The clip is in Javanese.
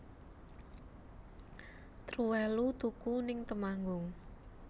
Truwelu tuku ning Temanggung